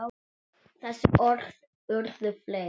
Þessi orð urðu fleyg.